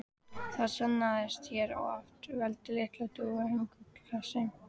Það sannaðist hér að oft veltir lítil þúfa þungu hlassi.